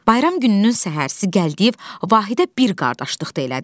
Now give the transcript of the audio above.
Bayram gününün səhəri Gəldiyev Vahidə bir qardaşlıq elədi.